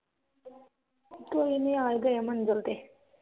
ਕੋਈ ਨੀ ਆ ਈ ਗਏ ਆ ਮੰਜ਼ਿਲ ਤੇ